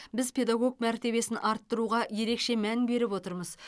біз педагог мәртебесін арттыруға ерекше мән беріп отырмыз